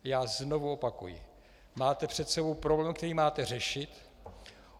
Já znovu opakuji: Máte před sebou problém, který máte řešit.